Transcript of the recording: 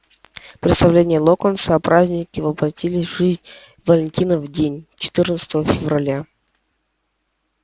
представление локонса о празднике воплотилось в жизнь в валентинов день четырнадцатого февраля